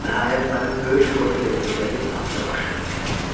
Nəhayət, mənim böyük qorxu ilə gözlədiyim hadisə baş verdi.